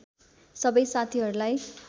सबै साथीहरूलाई